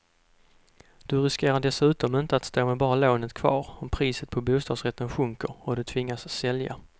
Du riskerar dessutom inte att stå med bara lånet kvar om priset på bostadsrätter sjunker och du tvingas sälja.